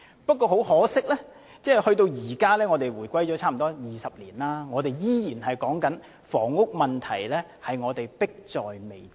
不過，很可惜，回歸至今已差不多20年，我們依然說房屋問題迫在眉睫。